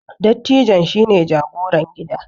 dattijon shi ne jagoran gida